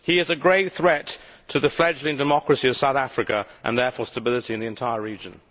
He is a great threat to the fledgling democracy of South Africa and, therefore, the stability of the entire region.